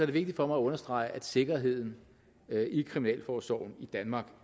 det vigtigt for mig at understrege at sikkerheden i kriminalforsorgen i danmark